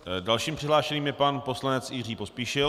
Dalším přihlášeným je pan poslanec Jiří Pospíšil.